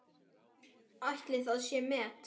Ætli það sé met?